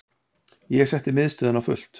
Ég setti miðstöðina á fullt.